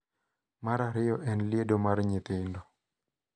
Mar ariyo en liedo mar nyithindo,